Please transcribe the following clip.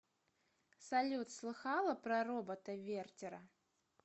салют слыхала про робота вертера